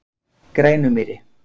Grænumýri